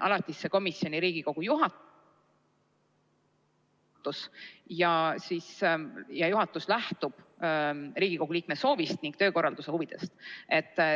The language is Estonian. alatisse komisjoni Riigikogu juhatus ja juhatus lähtub Riigikogu liikme soovist ning töökorralduse huvidest.